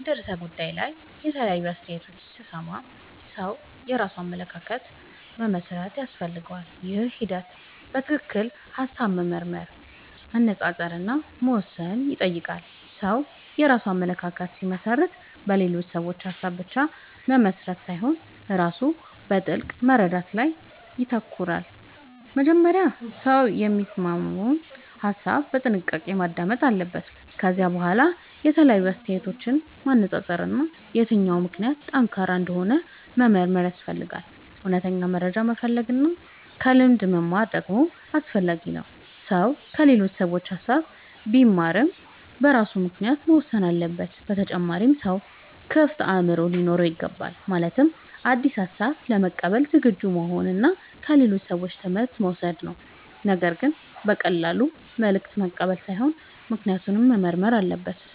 በአንድ ርዕሰ ጉዳይ ላይ የተለያዩ አስተያየቶችን ሲሰማ ሰው የራሱን አመለካከት መመስረት ያስፈልገዋል። ይህ ሂደት በትክክል ሐሳብ መመርመር፣ መነጻጸር እና መወሰን ይጠይቃል። ሰው የራሱን አመለካከት ሲመሰርት በሌሎች ሰዎች ሐሳብ ብቻ መመራት ሳይሆን ራሱ በጥልቅ መረዳት ላይ ይተኮራል። መጀመሪያ ሰው የሚሰማውን ሐሳብ በጥንቃቄ ማዳመጥ አለበት። ከዚያ በኋላ የተለያዩ አስተያየቶችን ማነጻጸር እና የትኛው ምክንያት ጠንካራ እንደሆነ መመርመር ያስፈልጋል። እውነተኛ መረጃ መፈለግ እና ከልምድ መማር ደግሞ አስፈላጊ ነው። ሰው ከሌሎች ሰዎች ሐሳብ ቢማርም በራሱ ምክንያት መወሰን አለበት። በተጨማሪም ሰው ክፍት አእምሮ ሊኖረው ይገባል። ማለትም አዲስ ሐሳብ ለመቀበል ዝግጁ መሆን እና ከሌሎች ሰዎች ትምህርት መውሰድ ነው። ነገር ግን በቀላሉ መልእክት መቀበል ሳይሆን ምክንያቱን መመርመር አለበት።